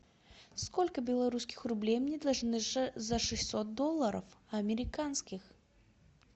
сколько белорусских рублей мне должны за шестьсот долларов американских